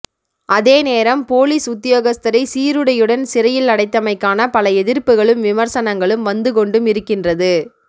அதே நேரம் பொலிஸ் உத்தியோகஸ்தரை சீருடையுடன் சிறையில் அடைத்தமைக்கான பல எதிர்ப்புகளும் விமர்சனங்களும் வந்து கொண்டும் இருக்கின்றது